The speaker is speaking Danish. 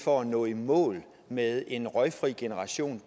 for at nå i mål med en røgfri generation